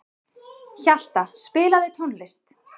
Hjalta, spilaðu tónlist.